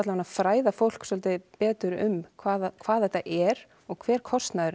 að fræða fólk svolítið betur um hvað hvað þetta er og hver kostnaðurinn